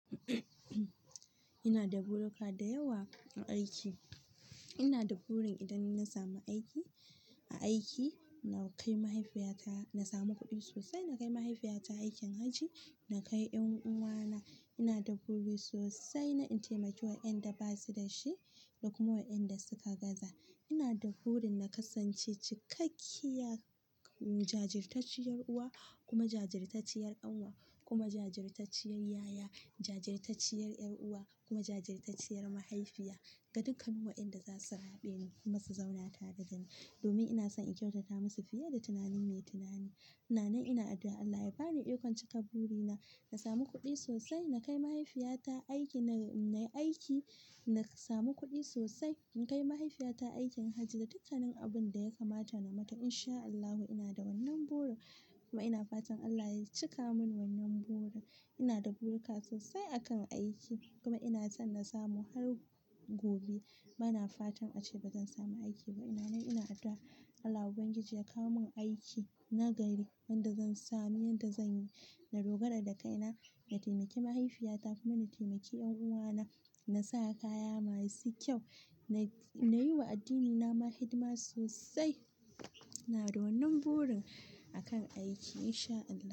Ina da buruka da yawa a aiki. Ina da burin idan na samu aiki, a aiki, na kai mahaifiyata, na samu kuɗi sosai, na kai mahaifiyata aikin hajji, na kai ƴan uwana. Ina da buri sosai na taimaki wa in da ba su da shi da kuma wa in da suka gaza. Ina da burin na kasance cikakkiya, jajirtacciyar uwa, kuma jajirtacciyar ƙanwa, kuma jajirtacciyar yaya, jajirtacciyar ƴar uwa, kuma jajirtacciyar mahaifiya ga dukkan waƴanda za su raɓe ni kuma su zauna tare da ni domin ina son in kyautata masu fiye da tunani mai tunani. Ina nan ina addu'a Allah ya ba ni ikon cika burina, na samu kuɗi sosai, na kai mahaifiyata aiki na, na yi aiki, na samu kuɗi sosai, in kai mahaifiyata aikin hajji da dukkanin abin da ya kamata namata in sha Allahu. Ina da wannan burin kuma ina fatan Allah ya cika min wannan buri. Ina da buruka sosai a kan aiki kuma ina son na samu har gobe. Bana fatan a ce ba zan samu aiki ba. Ina nan ina addu'a Allah Ubangiji ya kawo min aiki nagari wanda zan sami yadda zan yi, na dogara da kaina, na taimaki mahaifiyata kuma na taimaki ƴan uwana, na sa kaya masu kyau, na yi wa addinina ma hidima sosai. Ina da wannan burin a kan aiki in sha Allahu.